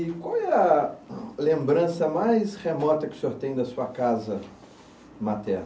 E qual é a lembrança mais remota que o senhor tem da sua casa materna?